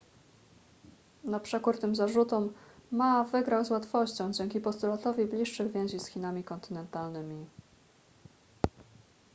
na przekór tym zarzutom ma wygrał z łatwością dzięki postulatowi bliższych więzi z chinami kontynentalnymi